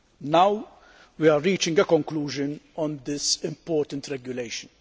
Now we are reaching a conclusion on this important regulation.